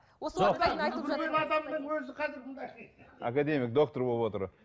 академик доктор болып отыр